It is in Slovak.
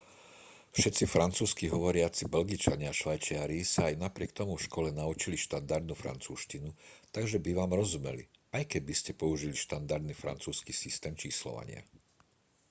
všetci francúzski hovoriaci belgičania a švajčiari sa aj napriek tomu v škole naučili štandardnú francúzštinu takže by vám rozumeli aj keby ste použili štandardný francúzsky systém číslovania